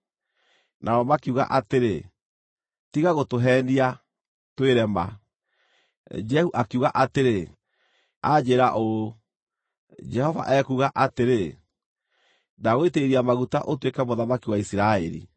Nao makiuga atĩrĩ, “Tiga gũtũheenia, twĩre ma.” Jehu akiuga atĩrĩ, “Anjĩĩra ũũ: ‘Jehova ekuuga atĩrĩ: Ndagũitĩrĩria maguta ũtuĩke mũthamaki wa Isiraeli.’ ”